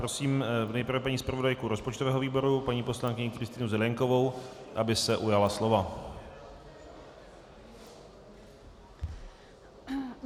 Prosím nejprve paní zpravodajku rozpočtového výboru, paní poslankyni Kristýnu Zelienkovou, aby se ujala slova.